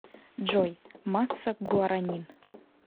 джой масса гуаранин